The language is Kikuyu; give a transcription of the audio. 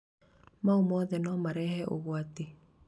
maũ mothe no marehe ũgwati."